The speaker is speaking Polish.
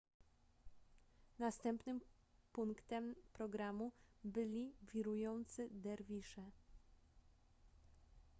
następnym punktem programu byli wirujący derwisze